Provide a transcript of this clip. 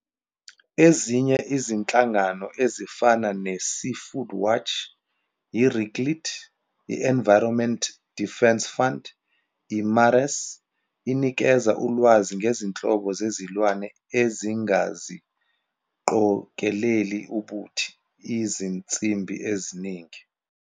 Ezinye izinhlangano ezifana ne-SeafoodWatch, i-RIKILT, i-Environmental Defence Fund, i-IMARES inikeza ulwazi ngezinhlobo zezilwane ezingaziqongeleli ubuthi, izinsimbi eziningi.